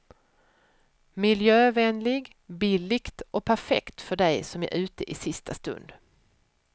Miljövänlig, billigt och perfekt för dig som är ute i sista stund.